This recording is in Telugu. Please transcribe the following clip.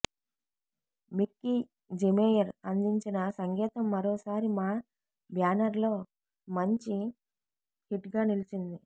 మిక్కీజెమేయర్ అందించిన సంగీతం మరోసారి మా బ్యానర్లో మంచి హిట్గా నిలిచింది